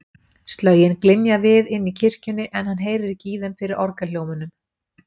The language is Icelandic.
Slögin glymja við inni í kirkjunni, en hann heyrir ekki í þeim fyrir orgelhljómunum.